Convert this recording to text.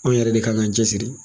Anw yɛrɛ de kan k'an cɛsiri.